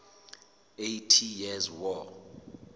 eighty years war